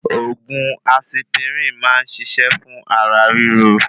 Òògùn asipirin máa n ṣiṣẹ fún ara ríro